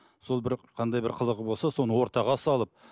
сол бір қандай бір қылығы болса соны ортаға салып